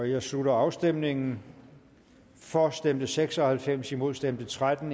jeg slutter afstemningen for stemte seks og halvfems imod stemte tretten